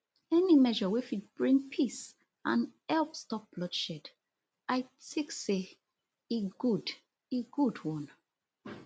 any measure wey fit bring peace and help stop bloodshed i tik say e good e good one